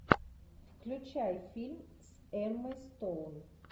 включай фильм с эммой стоун